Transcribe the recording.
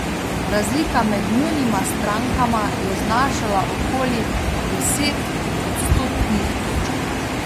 Razlika med njunima strankama je znašala okoli deset odstotnih točk.